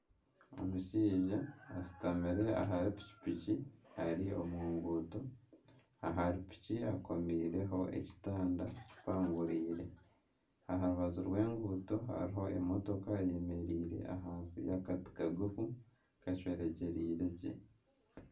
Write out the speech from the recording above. Omushaija ashutamire ahari piki piki ari omu nguuto ahari piki akomeireho ekitanda kipanguriire aha rubaju rw'enguuto hariho emotoka eyemereire ahansi y'akati kagufu kacweregyereire gye.